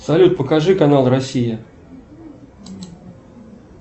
салют покажи канал россия